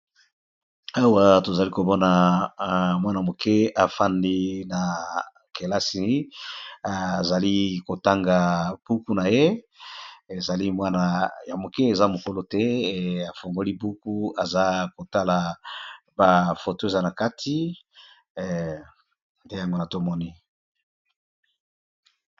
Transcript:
awa tozali komona mwana moke afandi na kelasi azali kotanga buku naye ezali mwana ya moke eza mokolo te! afongoli buku aza kotala ba foto eza na kati nde yango wana tomoni.